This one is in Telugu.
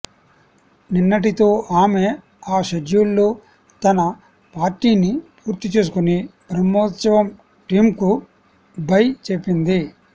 నిన్నటితో ఆమె ఆ షెడ్యూల్లో తనపార్ట్ని పూర్తి చేసుకుని బ్రహ్మోత్సవం టీమ్కు బై చెప్పింది